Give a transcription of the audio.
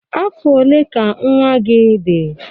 Afọ ole ka nwa gị dị?